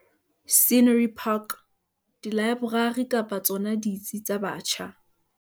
Scenery Park, dilaeborari kapa tsona ditsi tsa batjha.